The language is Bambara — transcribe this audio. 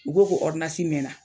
U ko ko mɛna